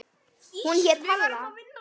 Hún hét Halla.